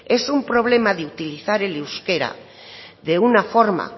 es un problema de utilizar el euskera de una forma